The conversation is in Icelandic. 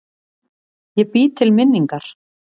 Ég bý til minningar.